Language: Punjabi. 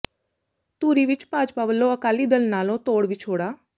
ਧੂਰੀ ਵਿੱਚ ਭਾਜਪਾ ਵੱਲੋਂ ਅਕਾਲੀ ਦਲ ਨਾਲੋਂ ਤੋਡ਼ ਵਿਛੋਡ਼ਾ